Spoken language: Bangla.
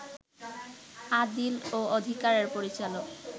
আদিল ও অধিকারের পরিচালক